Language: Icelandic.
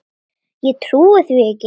Ég trúi því ekki!